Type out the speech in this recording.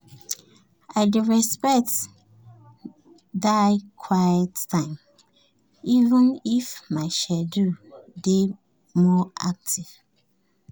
i dey respect dia quiet time even if my schedule dey more active.